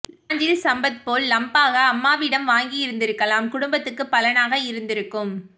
நாஞ்சில் சம்பத் போல் லம்பாக அம்மா விடம் வாங்கியிருந்திருக்கலாம் குடும்பத்துக்கு பலனாக இருந்திருக்கும்